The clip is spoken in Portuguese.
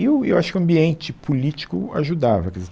E o, e eu acho que o ambiente político ajudava, quer dizer